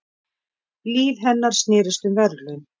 Líf hennar snerist um verðlaun.